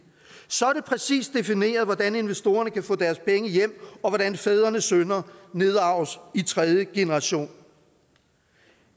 så er det præcist defineret hvordan investorerne kan få deres penge hjem og hvordan fædrenes synder nedarves i tredje generation